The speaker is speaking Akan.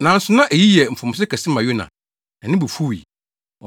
Nanso na eyi yɛ mfomso kɛse ma Yona, na ne bo fuwii.